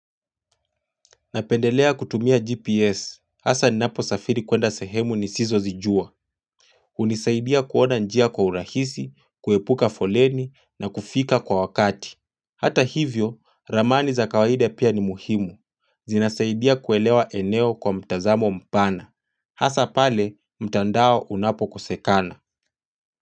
Napendelea kutumia GPS, hasa ninaposafiri kuenda sehemu nisizo zijua hunisaidia kuona njia kwa urahisi, kuepuka foleni na kufika kwa wakati Hata hivyo, ramani za kawaida pia ni muhimu zinasaidia kuelewa eneo kwa mtazamo mpana Hasa pale, mtandao unapo kosekana.